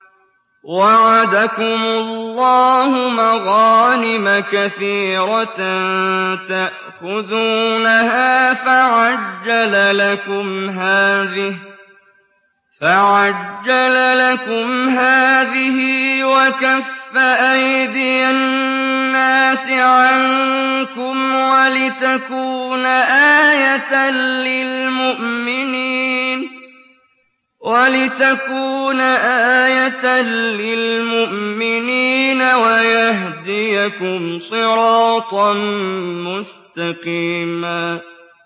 وَعَدَكُمُ اللَّهُ مَغَانِمَ كَثِيرَةً تَأْخُذُونَهَا فَعَجَّلَ لَكُمْ هَٰذِهِ وَكَفَّ أَيْدِيَ النَّاسِ عَنكُمْ وَلِتَكُونَ آيَةً لِّلْمُؤْمِنِينَ وَيَهْدِيَكُمْ صِرَاطًا مُّسْتَقِيمًا